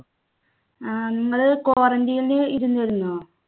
ആഹ് നിങ്ങള് quarantine ല് ഇരുന്നിരുന്നോ?